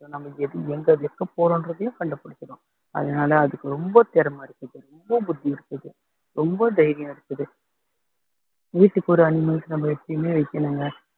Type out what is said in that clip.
நம்ம எது எங்க வெக்க போறோன்றதையும் கண்டுபிடிச்சிரும் அதனால அதுக்கு ரொம்ப திறமை இருக்குது ரொம்ப புத்தி இருக்குது ரொம்ப தைரியம் இருக்குது வீட்டுக்கு ஒரு animals நம்ம எப்பயுமே வைக்கணும்ங்க